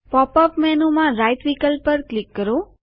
pop up menu માં right વિકલ્પ પર ક્લિક કરો